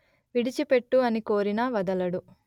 విడిచిపెట్టు అని కోరినా వదలడు